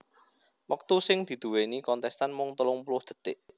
Wektu sing diduwèni kontèstan mung telung puluh dhetik